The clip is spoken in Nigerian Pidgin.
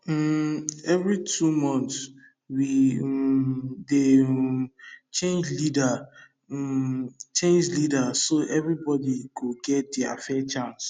um every two months we um dey um change leader um change leader so everybody go get fair chance